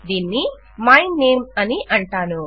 దీన్ని my name అని అంటాను